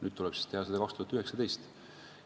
Nüüd tuleb teha seda 2019. aastal.